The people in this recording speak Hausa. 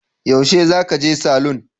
Yaushe za ka je salon?